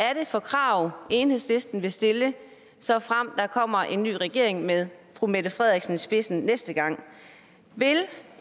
er det for krav enhedslisten vil stille såfremt der kommer en ny regering med fru mette frederiksen i spidsen næste gang vil